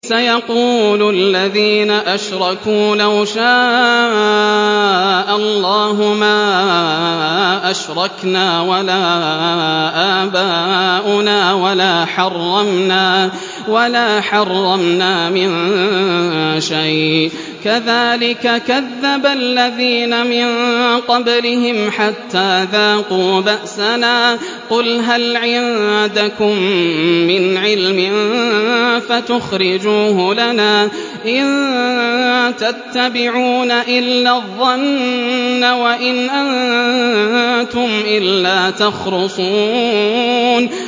سَيَقُولُ الَّذِينَ أَشْرَكُوا لَوْ شَاءَ اللَّهُ مَا أَشْرَكْنَا وَلَا آبَاؤُنَا وَلَا حَرَّمْنَا مِن شَيْءٍ ۚ كَذَٰلِكَ كَذَّبَ الَّذِينَ مِن قَبْلِهِمْ حَتَّىٰ ذَاقُوا بَأْسَنَا ۗ قُلْ هَلْ عِندَكُم مِّنْ عِلْمٍ فَتُخْرِجُوهُ لَنَا ۖ إِن تَتَّبِعُونَ إِلَّا الظَّنَّ وَإِنْ أَنتُمْ إِلَّا تَخْرُصُونَ